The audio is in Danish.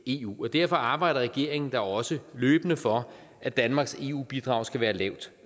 eu og derfor arbejder regeringen da også løbende for at danmarks eu bidrag skal være lavt